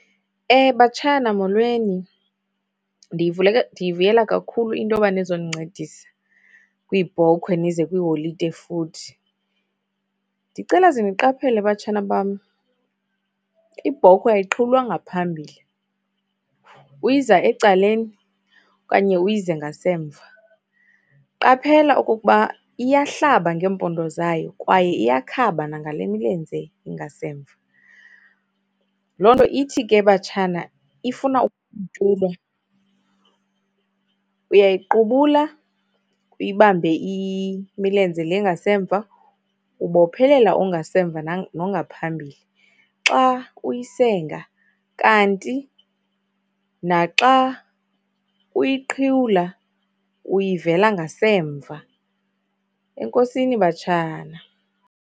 Batshana, molweni ndiyivuleka, ndiyivuyela kakhulu into yoba nizondincedisa kwiibhokhwe nize kwiiholide futhi. Ndicela zeniqaphele batshana bam, ibhokhwe ayiqhiwulwa ngaphambili, uyiza ecaleni okanye uyize ngasemva. Qaphela okokuba iyahlaba ngeempondo zayo kwaye iyakhaba nangale milenze ingasemva. Loo nto ithi ke batshana, ifuna . Uyayiqubula, uyibambe imilenze le ingasemva, bophelela ongasemva nongaphambili. Xa uyisenga kanti naxa uyiqhiwula uyivela ngasemva. Enkosini batshana.